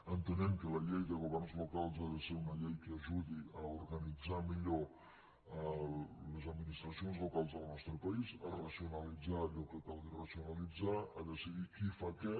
entenem que la llei de governs locals ha de ser una llei que ajudi a organitzar millor les administracions locals del nostre país a racionalit·zar allò que calgui racionalitzar a decidir qui fa què